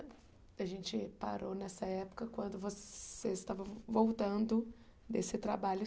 A gente parou nessa época quando você estava voltando desse trabalho.